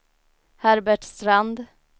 Herbert Strand